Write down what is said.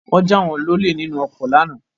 Wọ́n jà wọ́n lọlé nínú ọkọ lánàá